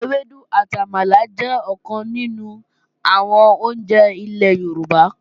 Ọbẹ̀ ewédú àti àmàlà jẹ́ ọ̀kan nínú àwọn oúnjẹ ilẹ̀ Yorùbá